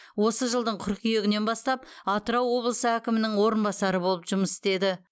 осы жылдың қыркүйегінен бастап атырау облысы әкімінің орынбасары болып жұмыс істеді